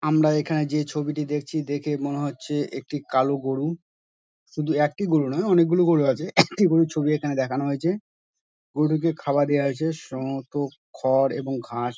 আমরা এখানে যে ছবিটি দেখছি তা দেখে মনে হচ্ছে একটি কালো গোরু শুধু একটি গোরু নয় অনেকগুলো গোরু আছে একটি গোরুর ছবি এখানে দেখানো হয়েছে | গোরুটিকে খাবার দেওয়া হয়েছে সম্ভবত খড় এবং ঘাস।